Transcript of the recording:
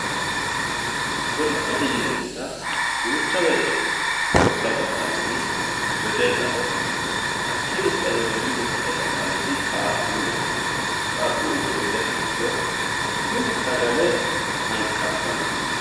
godo'lete yineemota duucha woyiite godo'la baxxannori wedellaho mhakii no sa"e wedelluyiiwiino sa"e baxxannori qaaquuleho yaate qaaquulu godo'le hanaffuro mine sagale hanqattanno.